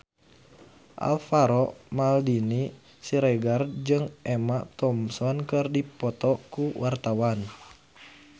Alvaro Maldini Siregar jeung Emma Thompson keur dipoto ku wartawan